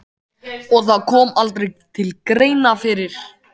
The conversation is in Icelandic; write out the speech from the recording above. Og það kom aldrei til greina fyrir